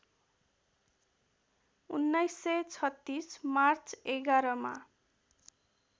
१९३६ March ११ मा